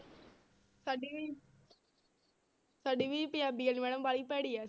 ਸਾਡੀ ਵੀ ਸਾਡੀ ਵੀ ਪੰਜਾਬੀ ਵਾਲੀ madam ਬਾਹਲੀ ਭੈੜੀ ਹੈ।